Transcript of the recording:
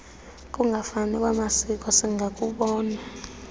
kungafani kwamasiko singakubona